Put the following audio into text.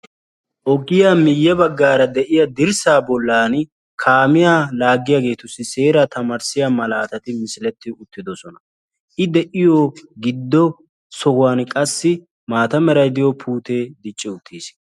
ogiyaa miyye baggara de'iyaa dirssa bollan kaamiyaa laaggiyaagetussi seeraa tamarissiyaa misileti misiletti uttidoosona; I de'iyoo giddo sohuwan qassi maata meray diyo puute dicci uttiis